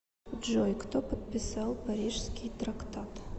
джой кто подписал парижский трактат